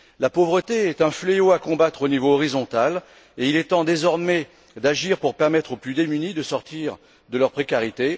La pauvreté est un fléau à combattre au niveau horizontal et il est temps désormais d'agir pour permettre aux plus démunis de sortir de leur précarité.